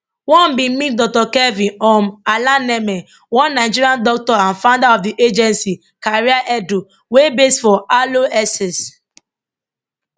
one bin meet dr kelvin um alaneme one nigerian doctor and founder of di agency careeredu wey base for harlow essex